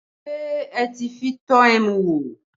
Ṣé ẹ ti fi tọ́ ẹmu wò?